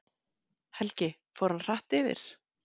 Helgi: Og fór hann hratt yfir?